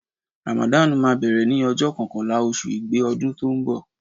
Ràmàdàn máa bẹ̀rẹ̀ ní ọjọ́ kọkànlá oṣù igbe ọdún tó ń bọ̀.